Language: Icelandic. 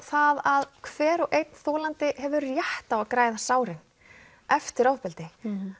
það að hver og einn þolandi hefur rétt á að græða sárin eftir ofbeldi